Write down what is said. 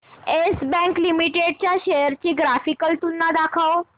yes Bank Limited च्या shares ची graphical तुलना दाखव